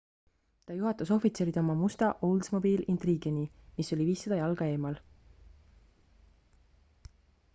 ta juhatas ohvitserid oma musta oldsmobile intrigue'ni mis oli 500 jalga eemal